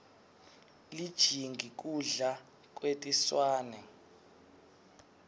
lijingi kudla kwetinswane